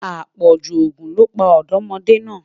apọju ogún ló pa ọdọmọde na